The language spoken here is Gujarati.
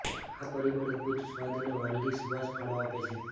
આ પરિબળ અદ્ભુત સ્વાદ અને વાનગી સુવાસ ફાળો આપે છે